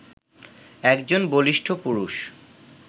একজন বলিষ্ঠ পুরুষ